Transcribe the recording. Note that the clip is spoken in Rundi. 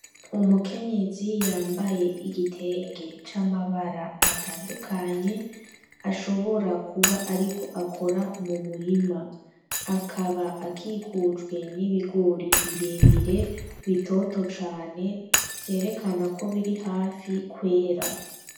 Umukenyezi yambaye igitenge c'amabara atandukanye ashobora kuba ariko akora mu murima, akaba akikujwe n'ibigore birebire bitoto cane vyerekana ko biri hafi kwera.